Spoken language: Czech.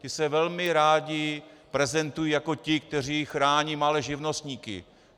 Ti se velmi rádi prezentují jako ti, kteří chrání malé živnostníky.